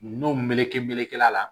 N'o meleke melekela la